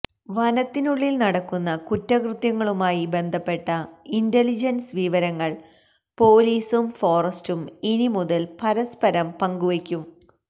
വനത്തിനുള്ളിൽ നടക്കുന്ന കുറ്റകൃത്യങ്ങളുമായി ബന്ധപ്പെട്ട ഇന്റലിജൻസ് വിവരങ്ങൾ പൊലീസും ഫോറസ്റ്റും ഇനിമുതൽ പരസ്പരം പങ്കുവയ്ക്കും